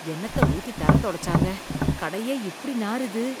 என்னத்த ஊத்தி தரை துடைச்சாங்க, கடையே இப்படி நாறுது.